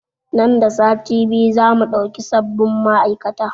Nan da sati biyu za mu ɗauki sabin ma'aikata